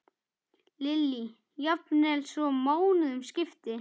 Lillý: Jafnvel svo mánuðum skipti?